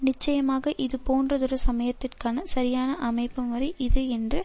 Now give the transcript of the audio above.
நிச்சயமாக இதுபோன்றதொரு சமயத்திற்கான சரியான அமைப்புமுறை இது என்று